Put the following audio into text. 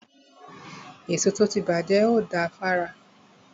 Èso tó ti bàjẹ́ ò da fára.